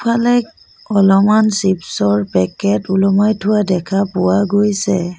আগফালে অলমান চিপচৰ পেকেট ওলোমাই থোৱা দেখা পোৱা গৈছে।